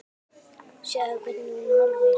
Sjáðu, hvernig hún horfir!